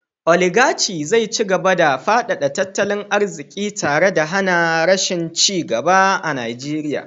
Oligarci zai ci gaba da fadada tattalin arziki tare da hana rashin ci gaba a Najeriya